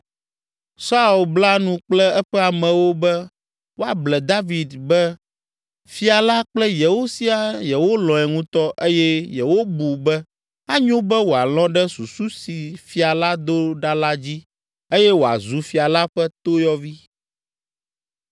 Saul bla nu kple eƒe amewo be woable David be fia la kple yewo siaa yewolɔ̃e ŋutɔ eye yewobu be anyo be wòalɔ̃ ɖe susu si fia la do ɖa la dzi eye wòazu fia la ƒe toyɔvi.